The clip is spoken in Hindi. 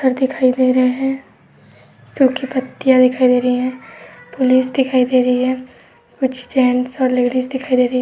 अर् दिखाई दे रहे हैं सूखी पत्तियां दिखाई दे रही हैं पुलिस दिखाई दे रही है कुछ जेंट्स और लेडिस दिखाई दे रही --